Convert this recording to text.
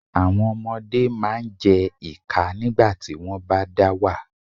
Àwọn ọmọdé máa jẹ́ ìkà nígbàtí wọ́n bá dá wà.